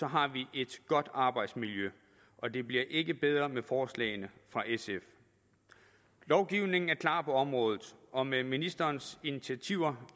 har vi et godt arbejdsmiljø og det bliver ikke bedre af forslaget fra sf lovgivningen er klar på området og med ministerens initiativer